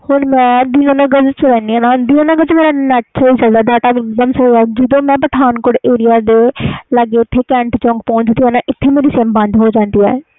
ਹੁਣ ਮੈਂ ਦੀਨਾਨਗਰ ਵਿਚ ਚਲਾ ਦੀ ਆ ਦੀਨਾਨਗਰ ਵਿਚ net slow ਚਲਦਾ ਜਦੋ ਮੈਂ ਪਠਾਨਕੋਟ ਏਰੀਆ ਦੇ ਲਗੇ ਓਥੇ ਇਥੇ cantt chowk ਮੇਰੀ sim ਬੰਦ ਹੋ ਜਾਂਦੀ ਆ